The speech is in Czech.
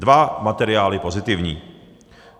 Dva materiály pozitivní.